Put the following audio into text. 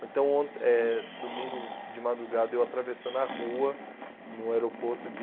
Ou então, eh domingo de madrugada, eu atravessando a rua, no aeroporto de...